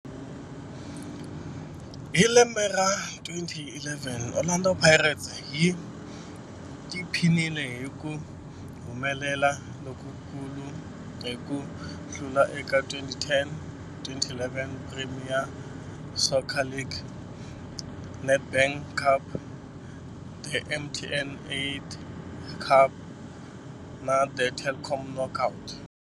Hi lembe ra 2011, Orlando Pirates yi tiphinile hi ku humelela lokukulu hi ku hlula eka 2010-11 Premier Soccer League, The Nedbank Cup, The MTN 8 Cup na The Telkom Knockout.